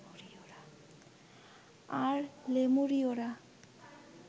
আর লেমুরীয়রা